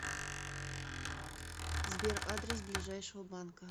сбер адрес ближайшего банка